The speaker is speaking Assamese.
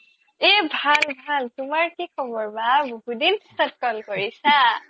এই ভাল ভাল তুমাৰ কি খবৰ বাহ বহু দিন পিছিত call কৰিছা